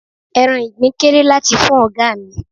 Ẹran Ìgbín kéré láti fún ọ̀gá mi.